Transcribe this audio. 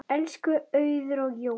Elsku Auður og Jói.